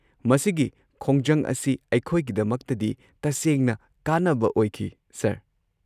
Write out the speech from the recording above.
ꯃꯁꯤꯒꯤ ꯈꯣꯡꯖꯪ ꯑꯁꯤ ꯑꯩꯈꯣꯏꯒꯤꯗꯃꯛꯇꯗꯤ ꯇꯁꯦꯡꯅ ꯀꯥꯟꯅꯕ ꯑꯣꯏꯈꯤ, ꯁꯔ꯫